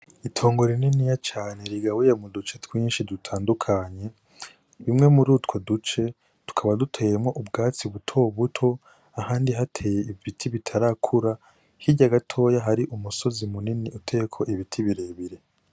Itongo rininiya cane rigabuye muduce twinshi dutandukanye imwe muri utwo duce duckaba hateye ibiti bitarakura hirya gato hateye ibiti bire bire.